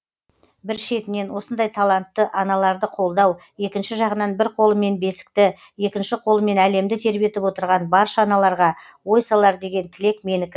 бір шетінен осындай талантты аналарды қолдау екінші жағынан бір қолымен бесікті екінші қолымен әлемді тербетіп отырған барша аналарға ой салар деген тілек менікі